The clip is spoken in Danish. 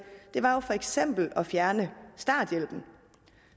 for eksempel var at fjerne starthjælpen